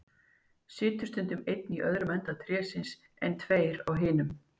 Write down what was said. Stundum situr einn á öðrum enda trésins, en tveir á hinum.